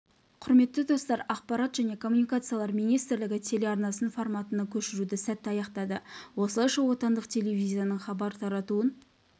құрметті достар ақпарат және коммуникациялар министрлігі телеарнасын форматына көшіруді сәтті аяқтады осылайша отандық телевизияның хабар таратуын